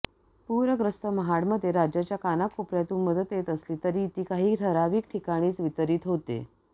पूरग्रस्त महाडमध्ये राज्याच्या कानाकोपऱ्यातून मदत येत असली तरी ती काही ठराविक ठिकाणीच वितरित होते